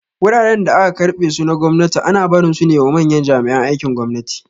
Wuraren da aka keɓe su na gwamnati ana barin sune wa manyan jami'an aikin gwamnati